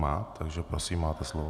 Má, takže prosím máte slovo.